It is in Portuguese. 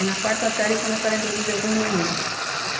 Aí na quarta série começaram a introduzir alguns meninos.